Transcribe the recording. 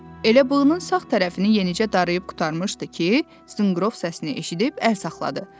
Elə bığının sağ tərəfini yenicə darayıb qurtarmışdı ki, zınqrov səsini eşidib əlləri havada saxladı.